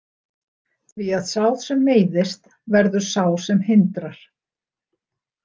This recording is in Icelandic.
Því að sá sem meiðist verður sá sem hindrar.